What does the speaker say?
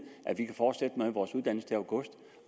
at vi kan fortsætte med vores uddannelse til august